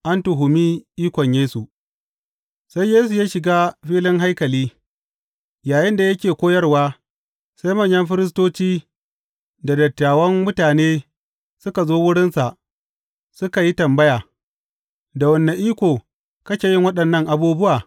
An tuhumi ikon Yesu Sai Yesu ya shiga filin haikali, yayinda yake koyarwa, sai manyan firistoci da dattawan mutane suka zo wurinsa suka yi tambaya, Da wane iko kake yin waɗannan abubuwa?